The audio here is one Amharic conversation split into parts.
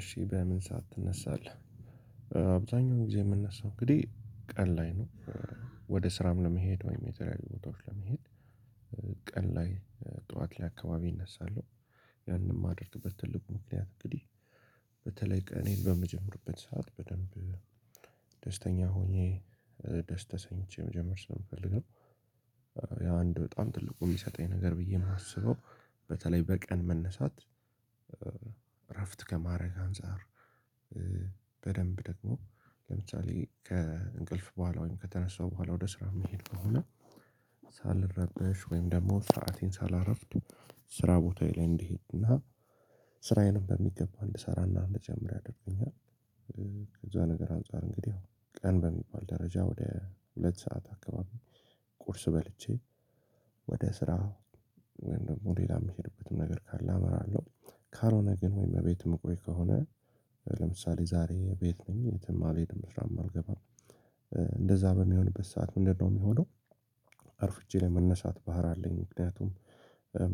እሺ በምን ሰዓት ትነሳለህ? አብዛኛውን ጊዜ የምነሳው እንግዲህ ቀን ላይ ነው። ወደ ስራም ለመሄድ ወይም የተለዩ ቦታዎች ለመሄድ ቀን ላይ ጠዋት ላይ አካባቢ እነሳለሁ። የማደርጉበት ትልቁ ምክንያት እንግዲህ በተለይ ቀኔን በምጀመርበት ሰዓት በደንብ ደስተኛ ሆኜ ደስ ተሰኝቼ መጀመር ስለምፈልግ ነው። ያ አንድ በጣም ትልቁ የሚሰጠኝ ነገር ብዬ የማስበው በተለይ በቀን መነሳት እረፍት ከማድረግ አንፃር- በደንብ ደግሞ ለምሳሌ ከእንቅልፍ በኋላ ወይም ከተነሳው በኋላ ወደ ስራ የሚሄድ ከሆነ- ሳልረበሽ ወይም ደግሞ ስዓቴን ሳላረፍድ ስራ ቦታዬ ላይ እንድሄድና ስራዬንም በሚገባ እንድሰራና እንድጀምር ያደርገኛል። ከዛ ነገር አንፃር እንግዲህ ቀን በሚባል ደረጃ ወደ ሁለት ሰዓት አካባቢ ቁርስ በልቼ- ወደ ስራ ወይም ደግሞ ሌላ የምሄድበትም ነገር ካለ አመራለሁ። ካልሆነ ግን ወይም እቤት የምቆይ ከሆነ- ለምሳሌ ዛሬ ቤት ነኝ የትም አልሄድም ስራም አልገባም እንደዛ በሚሆንበት ሰዓት ምንድነው የሚሆነው አርፍጄ ለመነሳት ባህር አለኝ። ምክንያቱም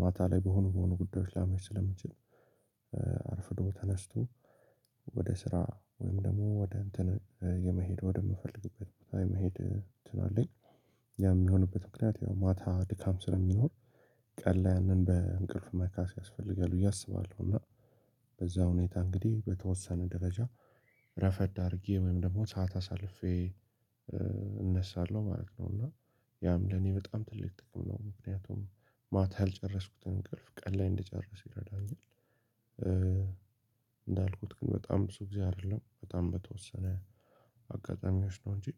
ማታ ላይ በሆኑ በሆኑ ጉዳዮች ላመሽ ስለምችል- አርፍዶ ተነስቶ ወደ ስራ ወይም ደግሞ ወደ እንትን የመሄድ ወደምፈልግበት የመሄድ እንትን አለኝ። ያ የሚሆንበት ምክንያት ያው ማታ ድካም ስለሚኖር ቀን ላይ ያንን በእንቅልፍ መካስ ያስፈልጋል ብዬ አስባለሁ። እና- በዛ ሁኔታ እንግዲህ በተወሰነ ደረጃ ረፈድ አድርጌ ወይም ደግሞ ሰዓት አሳልፌ እነሳለሁ ማለት ነው። እና ያም ለኔ በጣም ትልቅ ጥቅም ነው። ምክንያቱም ማታ ያልጨረስኩትን እንቅልፍ ቀን ላይ እንደጨረስ ይረዳኛል። እንዳልኩት ግን በጣም ብዙ ጊዜ አይደለም በጣም በተወሰነ አጋጣሚዎች ነው እንጂ-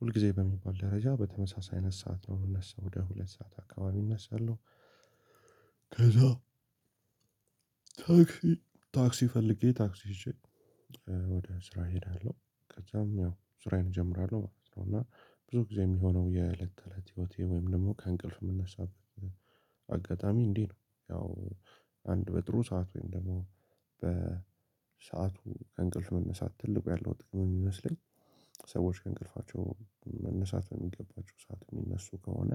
ሁልጊዜ በሚባል ደረጃ በተመሳሳይ አይነት ሰዓት ነው የሚነሳው ወደ ሁለት ሰዓት አካባቢ እነሳለሁ። ከዛ ታክሲ ታክሲ ፈልጌ ታክሲ ይዤ ወደ ስራ እሄዳለሁ ከዛም ያው ስራዬን እጀምራለሁ ማለት ነው። እና ብዙ ጊዜ የሚሆነው የእለት ተእለት ህይወቴ ወይም ደግሞ ከእንቅልፍ የምናሳበት- አጋጣሚ እንዴት ነው ያው አንድ በጥሩ ሰዓት ወይም ደግሞ በሰአቱ ከእንቅልፍ መነሳት ትልቁ ያለው ጥቅም የሚመስለኝ- ሰዎች ከእንቅልፋቸው መነሳት በሚገባቸው ሰዓት የሚነሱ ከሆነ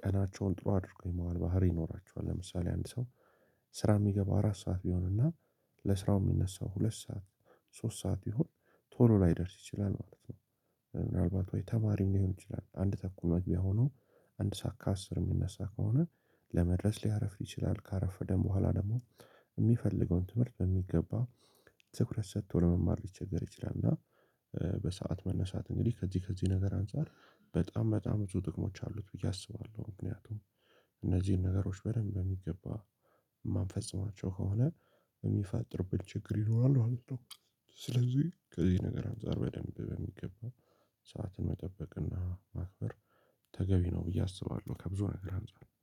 ቀናቸውን ጥሩ አድርጎ የመዋል ባህሪ ይኖራቸዋል ለምሳሌ አንድ ሰው ስራ የሚገባ አራት ሰዓት ቢሆንና ለስራው የሚነሳው ሁለት ሰዓት ሶስት ሰዓት ይሁን ቶሎ ላይደርስ ይችላል ማለት ነው- ምናልባት ወይ ተማሪ ሊሆን ይችላል አንድ ተኩል መግቢያ ሆኖ አንድ ሰዓት ከአስር የሚነሳ ከሆነ ለመድረስ ሊያርፍ ይችላል ካረፈደን በኋላ ደግሞ የሚፈልገውን ትምህርት በሚገባ ትኩረት ሰጥቶ ለመማር ሊቸገር ይችላል እና በሰአት መነሳት እንግዲህ ከዚህ ከዚህ ነገር አንፃር በጣም በጣም ብዙ ጥቅሞች አሉት ብዬ አስባለሁ ምክንያቱም- እነዚህን ነገሮች በደንብ በሚገባ የማንፈጽማቸው ከሆነ የሚፈጠርብን ችግር ይኖራሉ ማለት ነው ስለዚህ ከዚህ ነገር አንፃር በደንብ በሚገባ ሰዓትን መጠበቅና ማክበር ተገቢ ነው ብዬ አስባለሁ ከብዙ ነገር አንፃር